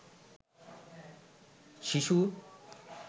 শিশু